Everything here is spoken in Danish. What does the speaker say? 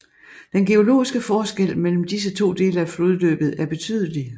Den geologiske forskel mellem disse to dele af flodløbet er betydelig